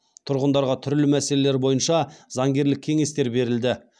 тұрғындарға түрлі мәселелер бойынша заңгерлік кеңестер берілді